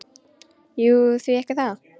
Jú, því ekki það?